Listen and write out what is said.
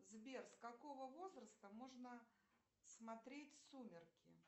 сбер с какого возраста можно смотреть сумерки